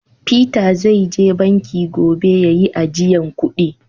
" Peter" zai je banki gobe ya yi ajiyan kudi.